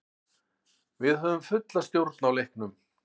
Við höfðum fulla stjórn á leiknum.